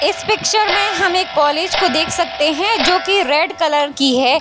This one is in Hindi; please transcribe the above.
इस पिक्चर में हम एक को देख सकते है जो की रेड कलर की है।